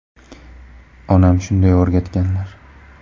Onam shunday o‘rgatganlar.